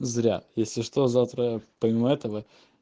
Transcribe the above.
зря если что завтра помимо этого